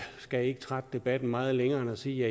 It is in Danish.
skal ikke trække debatten meget længere end at sige